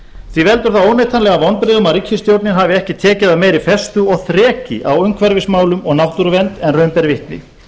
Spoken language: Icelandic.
því veldur það óneitanlega vonbrigðum að ríkisstjórnin hafi ekki tekið af meiri festu og þreki á umhverfismálum og náttúruvernd en raun ber vitni